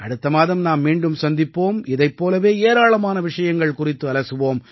அடுத்த மாதம் நாம் மீண்டும் சந்திப்போம் இதைப் போலவே ஏராளமான விஷயங்கள் குறித்து அலசுவோம்